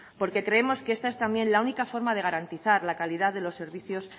porque creemos que esta es también la única forma de garantizar la calidad de los servicios